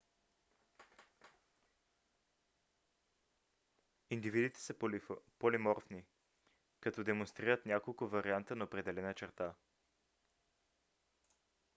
индивидите са полиморфни когато демонстрират няколко варианта на определена черта